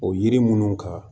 O yiri minnu ka